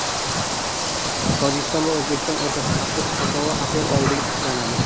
Tojikiston va O‘zbekiston o‘rtasida avtobus qatnovi aprel oyida tiklanadi.